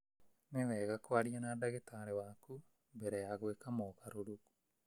Nĩ wega kwaria na ndagĩtarĩ waku mbere ya gwĩka mogarũrũku